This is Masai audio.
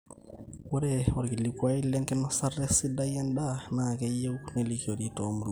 ore olkilikuai lenkinosata sidai endaa naa keyieu nelikori toomuruan